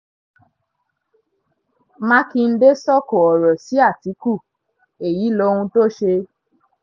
mákindé sọ̀kò ọ̀rọ̀ sí àtìkù èyí lohun tó ṣe